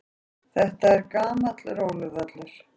Þetta er gamall róluvöllur.